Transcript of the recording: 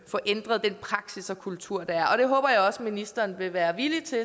ændret den praksis og kultur der er det håber jeg også at ministeren vil være villig til